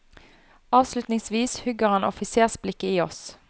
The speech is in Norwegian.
Avslutningsvis hugger han offisersblikket i oss.